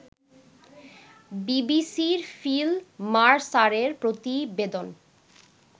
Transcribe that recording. বিবিসির ফিল মারসারের প্রতিবেদন